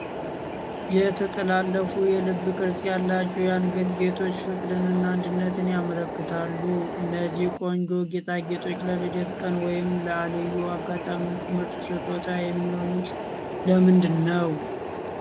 የተጠላለፉ የልብ ቅርጽ ያላቸው የአንገት ጌጦች ፍቅርንና አንድነትን ያመለክታሉ። እነዚህ ቆንጆ ጌጣጌጦች ለልደት ቀን ወይም ለልዩ አጋጣሚዎች ምርጥ ስጦታ የሚሆኑት ለምንድን ነው?